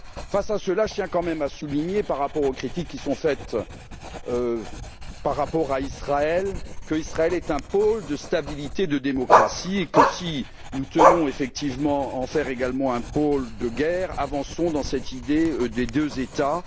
Face à cela, je tiens quand même à souligner, par rapport aux critiques qui sont faites à l'égard d'Israël, que ce pays est un pôle de stabilité et de démocratie et que si nous tenons effectivement à en faire également un pôle de guerre, avançons dans cette idée des deux États.